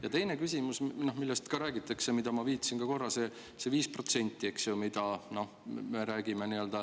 Ja teine küsimus, millest räägitakse ja millele ma viitasin ka korra, see 5%, millest me räägime.